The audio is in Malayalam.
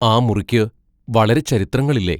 ആ മുറിക്ക് വളരെ ചരിത്രങ്ങളില്ലേ?